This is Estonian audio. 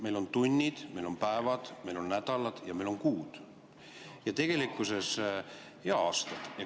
Meil on tunnid, meil on päevad, meil on nädalad ja meil on kuud ja aastad.